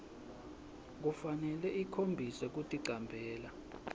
kufanele ikhombise kuticambela